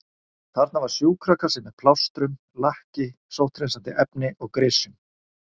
Þarna var sjúkrakassi með plástrum, lakki, sótthreinsandi efni og grysjum.